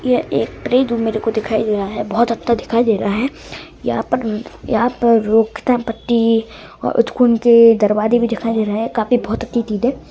ये एक फ्रिज मेरे को दिखाई दे रहा है | बहुत अच्छा दिखाई दे रहा है यहाँ पर यहाँ पर रोक थाम पट्टी और उच्च कुंते दरवाज़े भी दिखाई दे रहे है काफी बहुत अच्छी चीज है।